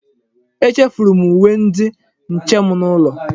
Echefuru m uwe ndi nche m n'ụlọ.